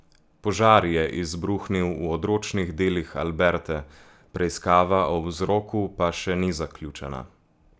Požar je izbruhnil v odročnih delih Alberte, preiskava o vzroku pa še ni zaključena.